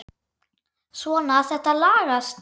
Svona, þetta lagast